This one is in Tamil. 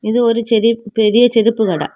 இது ஒரு செரிய பெரிய செருப்பு கட.